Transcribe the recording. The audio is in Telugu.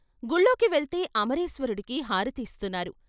గుళ్ళోకి వెళ్తే అమరేశ్వరుడికి హారతి ఇస్తున్నారు.